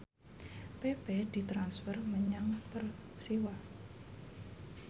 pepe ditransfer menyang Persiwa